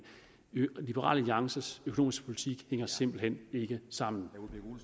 liberal alliances økonomiske politik hænger simpelt hen ikke sammen